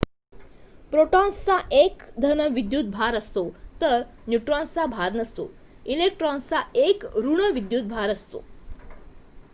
प्रोटॉन्सचा एक धन विद्युत भार असतो तर न्यूट्रॉन्सचा भार नसतो इलेक्ट्रॉन्सचा एक ऋण विद्युत भार असतो